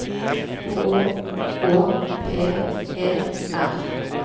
H Å P E R